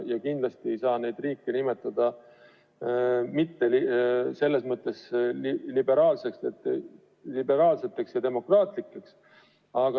Ja kindlasti ei saa neid riike nimetada mitteliberaalseteks ja mittedemokraatlikeks.